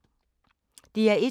DR1